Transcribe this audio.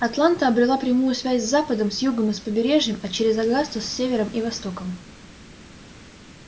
атланта обрела прямую связь с западом с югом и с побережьем а через огасту с севером и востоком